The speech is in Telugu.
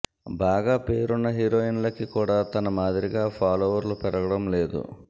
బాగా పేరున్న హీరోయిన్లకి కూడా తన మాదిరిగా ఫాలోవర్లు పెరగడం లేదు